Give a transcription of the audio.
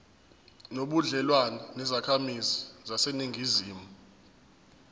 nobudlelwane nezakhamizi zaseningizimu